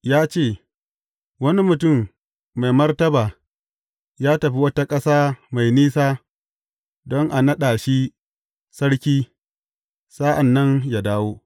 Ya ce, Wani mutum mai martaba ya tafi wata ƙasa mai nisa don a naɗa shi sarki sa’an nan ya dawo.